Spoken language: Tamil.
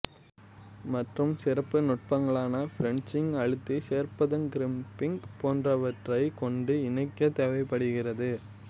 மற்றும் சிறப்பு நுட்பங்களான ப்ரேசிங் அழுத்தி சேர்ப்பதுக்ரிம்பிங் போன்றவற்றை கொண்டு இணைக்க தேவைப்படுகிறது